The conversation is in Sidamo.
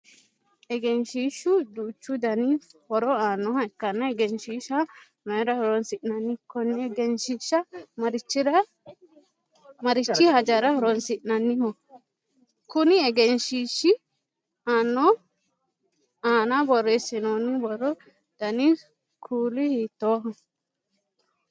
Egenshiishu duuchu Danni horo aanoha ikanna egenshiisha mayira horoonsi'nanni? Konne egenshiisha marichira hajara horoonsi'nonniho? Konni egenshiishi aanna boreesinoonni borro danni kuuli hiitooho?